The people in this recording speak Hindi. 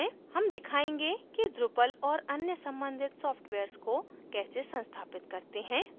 हम दिखायेंगे कि drupal और अन्य सम्बंधित सॉफ्टवेयर्स को कैसे संस्थापित करते हैं